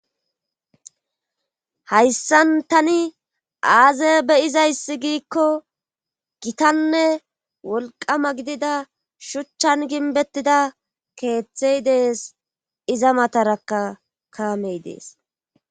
hayssan tani aaza beyizayssi giikko gitanne wolqama gidida shuchchan ginbettida keeththey dees iza matarakka kaamey dees